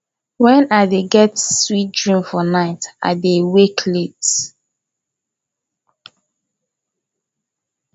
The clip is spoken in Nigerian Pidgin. wen i dey get sweet dream for night i dey wake late